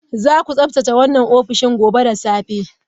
Zaku tsaftace wannan ofishin gobe da safe